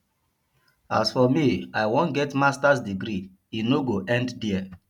as for me i wan get masters degree e no go end here